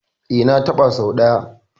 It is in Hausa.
E, na taɓa sau ɗaya.